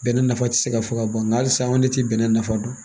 Bɛnɛ nafa tɛ se ka fɔ ka ban nka halisa anw ne tɛ bɛnɛ nafa dɔn